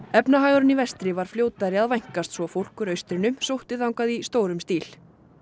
efnahagurinn í vestri var fljótari að vænkast svo fólk úr austrinu sótti þangað í stórum stíl